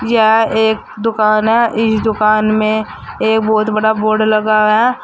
यह एक दुकान है इस दुकान में एक बहुत बड़ा बोर्ड लगा हुआ है।